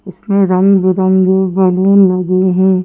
इसमें रंग बिरंगे बैलून लगे हैं।